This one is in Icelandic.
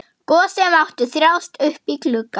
Gosi mátti þjást uppí glugga.